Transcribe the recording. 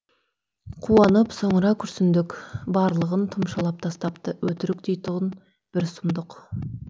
қуанып соңыра күрсіндік барлығын тұмшалап тастапты өтірік дейтұғын бір сұмдық